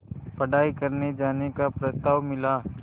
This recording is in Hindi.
पढ़ाई करने जाने का प्रस्ताव मिला